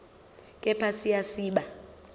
kepha siya siba